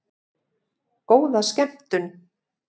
Góða skemmtun!